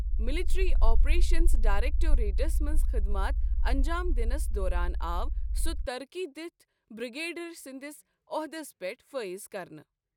Military operations directorates منٛز خٕدمات انٛجام دِنس دوران آو سُہ ترقی دتھ بِرٛگیڈِیَر سٕنٛدِس عۄحدس پیٹھ فٲیض كرنہٕ۔